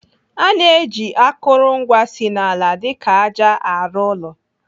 Ana eji akụrụngwa si n'ala dịka àjà arụ ụlọ.